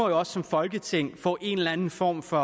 også som folketing få en eller en form for